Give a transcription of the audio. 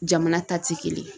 Jamana ta ti kelen ye.